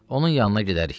Onun yanına gedərik.